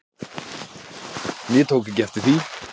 En ég tók ekki eftir því.